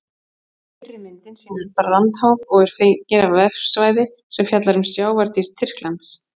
Fyrri myndin sýnir brandháf og er fengin á vefsvæði sem fjallar um sjávardýr Tyrklands.